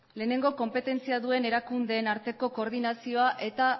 lehenengo konpetentzia duten erakundeen arteko koordinazioa eta